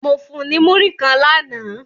Mo fun un ni muri kan làná